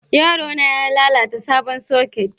Yaro na ya lalata sabon soket